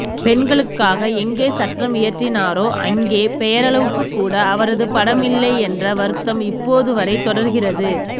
பெண்களுக்காக எங்கே சட்டம் இயற்றினாரோ அங்கே பெயரளவுக்குக்கூட அவரது படம் இல்லை என்ற வருத்தம் இப்போதுவரை தொடர்கிறது